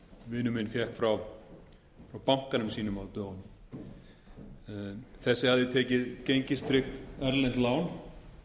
minn fékk frá bankanum sínum á dögunum þessi hafði tekið gengistryggt erlent lán